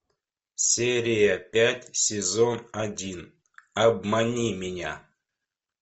серия пять сезон один обмани меня